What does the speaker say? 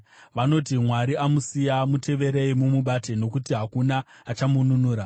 Vanoti, “Mwari amusiya; muteverei mumubate, nokuti hakuna achamununura.”